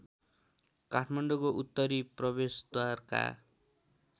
काठमाडौँको उत्तरी प्रवेशद्वारका